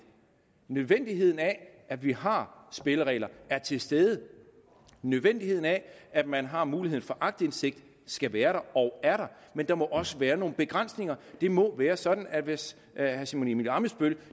nødvendigheden af at vi har spilleregler er til stede nødvendigheden af at man har muligheden for aktindsigt skal være der og er der men der må også være nogle begrænsninger det må være sådan at hvis herre simon emil ammitzbøll